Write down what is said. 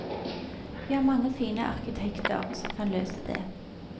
Vi har mange fine arkitekter som kan løse det.